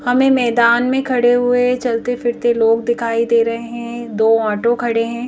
हमें मैदान में खड़े हुए चलते फिरते लोग दिखाई दे रहे हैं दो ऑटो खड़े हैं।